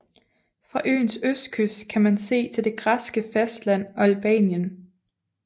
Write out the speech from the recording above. Fra øens østkyst kan man se til det græske fastland og Albanien